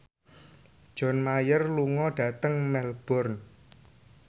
John Mayer lunga dhateng Melbourne